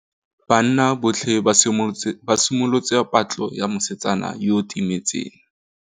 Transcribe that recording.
Banna botlhê ba simolotse patlô ya mosetsana yo o timetseng.